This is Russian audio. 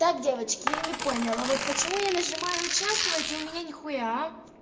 так девочки я не поняла вот почему я нажимаю участвовать и у меня нихуя а